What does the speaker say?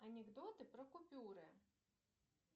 анекдоты про купюры